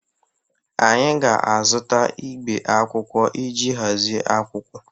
Anyị ga-azụta igbe akwụkwọ iji hazie akwụkwọ.